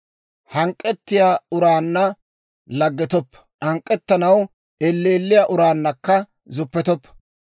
Hank'k'ettiyaa uraanna laggetoppa; hank'k'ettanaw elleelliyaa uraannakka zuppetoppa.